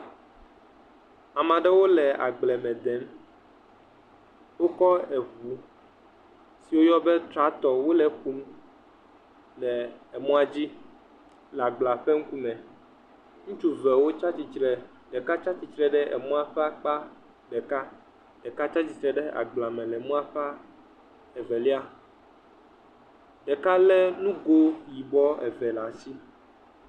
ame aɖewo le agbleme dem wokɔ ʋu si woyɔna tratɔ wole kum le mɔadzi le agblea ƒe ŋkume ŋutsu evewo le titre ɖeka titre ɖe mɔa ƒe akpa ɖeka ɖeka titre ɖe agbleame mɔa ƒe evelia ɖeka le nugoe yibɔ eve ɖe asi